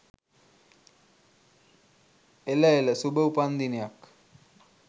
එල එල සුභ උපන්දිනයක්